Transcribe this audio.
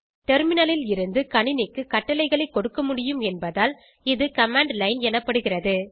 terminal ல் இருந்து கணினிக்கு கட்டளைகளை கொடுக்கமுடியும் என்பதால் இது கமாண்ட் லைன் எனப்படுகிறது